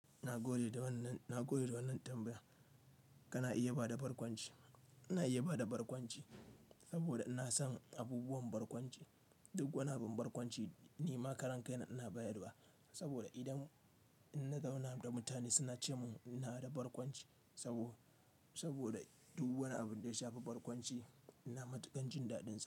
Na gode da wannan, na gode da wannan tambaya. Kana iya ba da barkwanci, ina iya ba da barkwanci saboda ina son abubuwan barkwanci, duk wani abin barkwanci nima karan kai na ina bayar da wa saboda idan inna zauna da mutane suna ce min ina da barkwanci sabo, saboda duk wani abin da ya shafi barkwanci ina matuƙan jin daɗinsa.